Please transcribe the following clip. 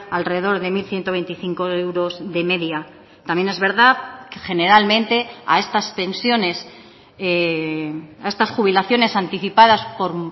alrededor de mil ciento veinticinco euros de media también es verdad generalmente a estas pensiones a estas jubilaciones anticipadas por